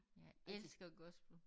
Jeg elsker gospel